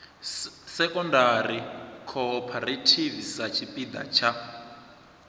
secondary cooperative sa tshipiḓa tsha